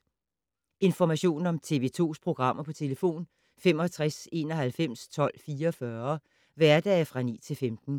Information om TV 2's programmer: 65 91 12 44, hverdage 9-15.